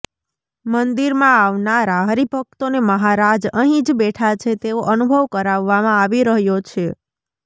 મંદિરમાં આવનારા હરિભક્તોને મહારાજ અહી જ બેઠા છે તેવો અનુભવ કરાવવામાં આવી રહ્યો છે